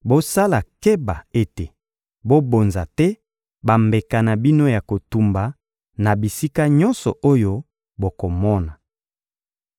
Bosala keba ete bobonza te bambeka na bino ya kotumba na bisika nyonso oyo bokomona.